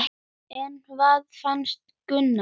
En hvað fannst Gunnari?